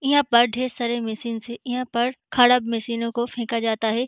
यहाँ पर ढ़ेर सारे मशीनस है यहाँ पर ख़राब मशीनों को फेंका जाता है।